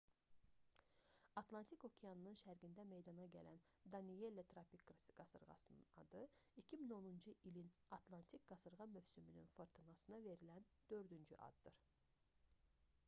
atlantik okeanının şərqində meydana gələn danielle tropik qasırğasının adı 2010-cu ilin atlantik qasırğa mövsümünün fırtınasına verilən dördüncü addır